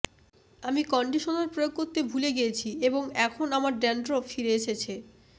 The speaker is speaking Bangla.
আমি কন্ডিশনার প্রয়োগ করতে ভুলে গিয়েছি এবং এখন আমার ড্যান্ড্রাফ ফিরে এসেছে